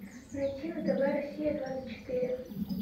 найти на тв россия двадцать четыре